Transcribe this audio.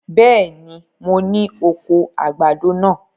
Bẹ́ẹ̀ni, mo ní oko àgbàdo náà.